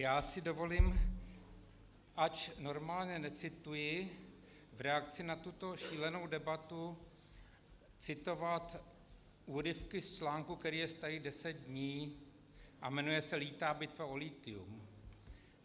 Já si dovolím, ač normálně necituji, v reakci na tuto šílenou debatu citovat úryvky z článku, který je starý deset dní a jmenuje se Lítá bitva o lithium: